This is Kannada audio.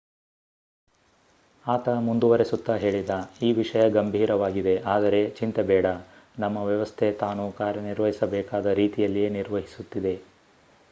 ಆತ ಮುಂದುವರೆಸುತ್ತಾ ಹೇಳಿದ ಈ ವಿಷಯ ಗಂಭೀರವಾಗಿದೆ. ಅದರೆ ಚಿಂತೆ ಬೇಡ ನಮ್ಮ ವ್ಯವಸ್ಥೆ ತಾನು ಕಾರ್ಯನಿರ್ವಹಿಸಬೇಕಾದ ರೀತಿಯಲ್ಲಿಯೇ ನಿರ್ವಹಿಸುತ್ತಿದೆ.